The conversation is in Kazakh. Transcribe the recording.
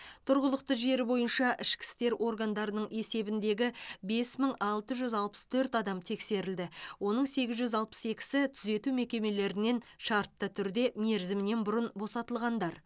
тұрғылықты жері бойынша ішкі істер органдарының есебіндегі бес мың алты жүз алпыс төрт адам тексерілді оның сегіз жүз алпыс екісі түзету мекемелерінен шартты түрде мерзімінен бұрын босатылғандар